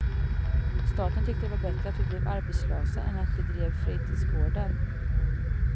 Staten tyckte det var bättre att vi blev arbetslösa än att vi drev fritidsgårdar.